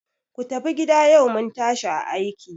Ku tafi gida! yau mun tashi a aiki.